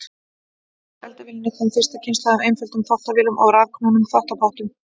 Á eftir eldavélinni kom fyrsta kynslóð af einföldum þvottavélum og rafknúnum þvottapottum.